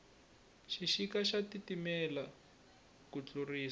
xixika xa titimela ku tlurisisa